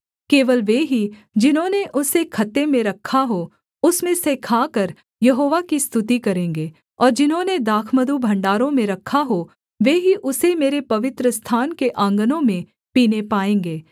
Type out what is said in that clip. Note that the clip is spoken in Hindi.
केवल वे ही जिन्होंने उसे खत्ते में रखा हो उसमें से खाकर यहोवा की स्तुति करेंगे और जिन्होंने दाखमधु भण्डारों में रखा हो वे ही उसे मेरे पवित्रस्थान के आँगनों में पीने पाएँगे